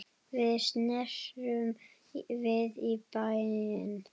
Við snerum við í bæinn.